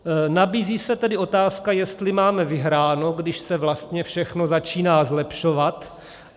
Nabízí se tedy otázka, jestli máme vyhráno, když se vlastně všechno začíná zlepšovat.